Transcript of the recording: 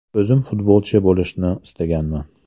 O‘zim futbolchi bo‘lishni istaganman.